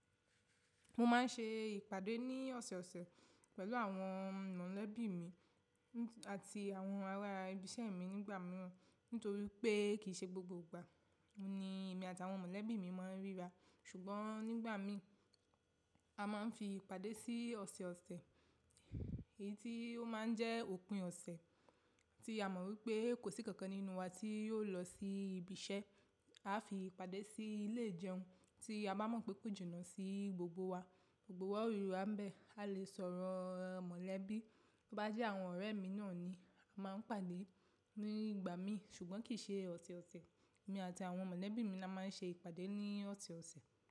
Mo máa ń ṣe ìpàdé ní ọ̀sọ̀ọ̀sẹ̀ pẹ̀lú àwọn mọ̀lẹ́bí mi àti àwọn ará ibi iṣẹ́ mi nígbà mìíràn. Nítorí pé kì í ṣe gbogbo ìgbà ni èmi àti àwọn mọ̀lẹ́bí mi máa ń ríra. Ṣùgbọ́n nígbà mí, a máa ń fi ìpàdé sí ọ̀sọ̀ọ̀sẹ̀. Èyí tí ó máa ń jẹ́ òpin ọ̀sẹ̀ tí a mọ̀ wípé kò sí kankan nínú wa tí yóò lọ sí ibi iṣẹ́. A fi ìpàdé sí ilé ìjẹun tí a bá mọ̀ wípé kò jìnà sí gbogbo wa, gbogbo wa ò ríra bẹ́ẹ̀, ka lè sọ̀rọ̀ mọ̀lẹ́bí. Bí ó bá jẹ́ àwọn ọ̀rẹ́ mi náà ni a máa ń pàdé nígbà mí. Ṣùgbọ́n kì í ṣe ọ̀tọ̀ọ̀tọ̀ èmi àti àwọn mọ̀lẹ́bí mi la máa ń ṣe ìpàdé ní ọ̀tọ̀ọ̀tọ̀.